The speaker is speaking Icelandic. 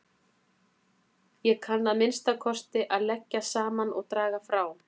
Ég kann að minnsta kosti að leggja saman og draga frá